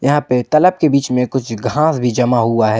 यहां पे तलब के बीच में कुछ घास भी जमा हुआ है।